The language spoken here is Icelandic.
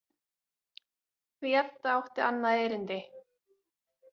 Því Edda átti annað erindi.